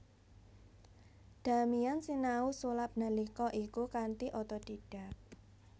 Damian sinau sulap nalika iku kanthi otodidak